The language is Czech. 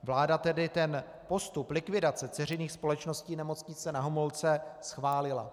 Vláda tedy ten postup likvidace dceřiných společností Nemocnice Na Homolce schválila.